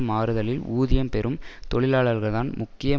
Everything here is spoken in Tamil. மாறுதலில் ஊதியம் பெறும் தொழிலாளர்கள் தான் முக்கிய